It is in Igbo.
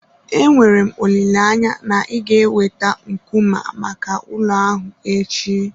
Enwere m olileanya na ị ga-eweta nkume maka ụlọ ahụ echi.